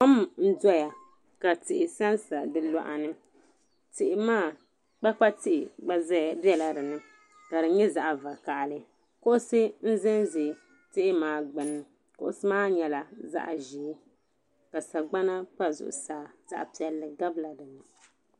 Kom n-doya ka tihi sansa di luɣa ni tihi maa kpakpa tihi gba bela dini ka di nyɛ zaɣ'vakahili kuɣusi n-zanzaya tihi maa gbunni kuɣusi maa nyɛla zaɣ'ʒee ka sagbana pa zuɣusaa zaɣ'piɛlli gabila dini.